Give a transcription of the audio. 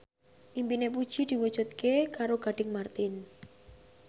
impine Puji diwujudke karo Gading Marten